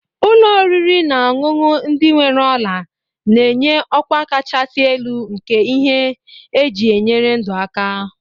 Ụlọ oriri na ọṅụṅụ ndị nwere ola na-enye ọkwa kachasị elu nke ihe eji enyere ndụ aka.